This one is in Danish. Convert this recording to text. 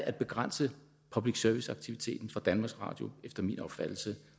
at begrænse public service aktiviteten for danmarks radio efter min opfattelse